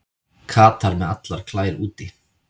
Katar með allar klær úti